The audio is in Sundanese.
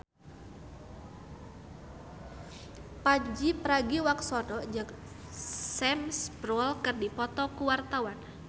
Pandji Pragiwaksono jeung Sam Spruell keur dipoto ku wartawan